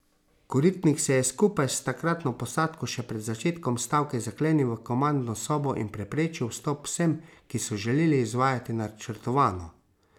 Koritnik se je skupaj s takratno posadko še pred začetkom stavke zaklenil v komandno sobo in preprečil vstop vsem, ki so želeli izvajati načrtovano.